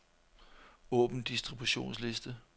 Åbn distributionsliste.